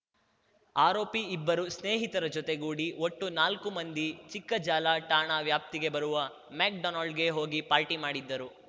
ಆರೋಪಿ ಇಬ್ಬರು ಸ್ನೇಹಿತರ ಜೊತೆಗೂಡಿ ಒಟ್ಟು ನಾಲ್ಕು ಮಂದಿ ಚಿಕ್ಕಜಾಲ ಠಾಣಾ ವ್ಯಾಪ್ತಿಗೆ ಬರುವ ಮೆಕ್‌ಡೋನಲ್ಡ್‌ಗೆ ಹೋಗಿ ಪಾರ್ಟಿ ಮಾಡಿದ್ದರು